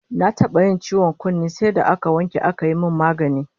Na taba yin ciwon kunne sai da aka wanke aka yi min magani